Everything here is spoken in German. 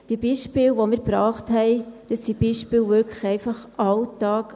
Die Beispiele, die wir gebracht haben, sind wirklich einfach Alltag.